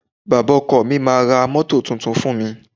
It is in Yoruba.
Bàbá ọkọ mi máá ra mọ́tò tuntun fún mi.